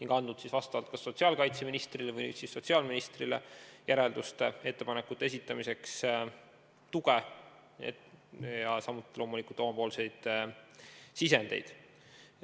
Nõukogu on andnud kas sotsiaalkaitseministrile või siis sotsiaalministrile järelduste-ettepanekute tegemiseks tuge, samuti on tal loomulikult olnud omapoolseid sisendeid.